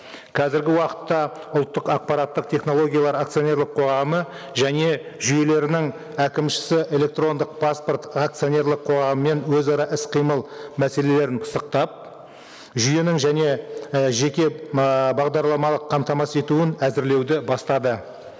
қазіргі уақытта ұлттық ақпараттық технологиялар акционерлік қоғамы және жүйелерінің әкімшісі электрондық паспорт акционерлік қоғамымен өзара іс қимыл мәселелерін пысықтап жүйенің және і жеке бағдарламалық қамтамасыз етуін әзірлеуді бастады